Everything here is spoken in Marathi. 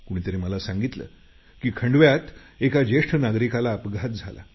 कुणीतरी मला सांगितलं की खंडव्यात एका ज्येष्ठ नागरिकाला अपघात झाला